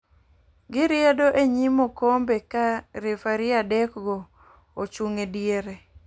Gi riedo e nyim okombe ka refari adek go ochung e diere.